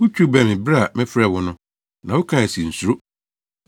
Wutwiw bɛn me bere a mefrɛɛ wo no, na wokae se, “Nsuro.”